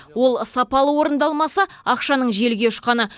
ол сапалы орындалмаса ақшаның желге ұшқаны